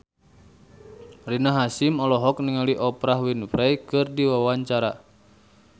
Rina Hasyim olohok ningali Oprah Winfrey keur diwawancara